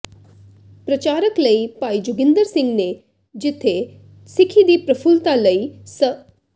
ਪ੍ਰਚਾਰਕ ਭਾਈ ਜੋਗਿੰਦਰ ਸਿੰਘ ਨੇ ਜਿਥੇ ਸਿੱਖੀ ਦੀ ਪ੍ਰਫੁੱਲਤਾ ਲਈ ਸ